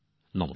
নমস্কার